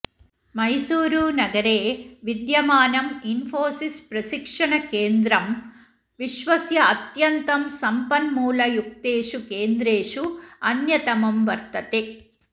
मैसूरुनगरे विद्यमानम् इन्फोसिस्प्रशिक्श्हणकेन्द्रं विश्वस्य अत्यन्तं सम्पन्मूलयुक्तेषु केन्द्रेषु अन्यतमं वर्तते